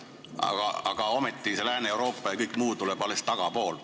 Ometigi tuleb see Lääne-Euroopa ja kõik muu alles tagapool.